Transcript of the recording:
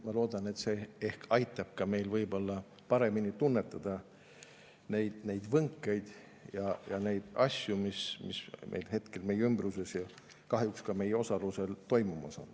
Ma loodan, et see ehk aitab meil paremini tunnetada neid võnkeid ja asju, mis hetkel meie ümbruses ja kahjuks ka meie osalusel toimumas on.